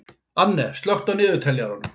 Anne, slökktu á niðurteljaranum.